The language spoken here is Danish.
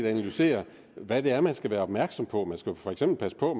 analyserer hvad det er man skal være opmærksom på man skal for eksempel passe på